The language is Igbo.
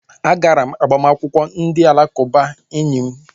A gara m agbamakwụkwọ ndị alakụba enyi m